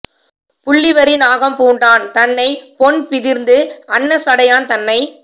புள்ளி வரி நாகம் பூண்டான் தன்னைப் பொன் பிதிர்ந்து அன்ன சடையான் தன்னை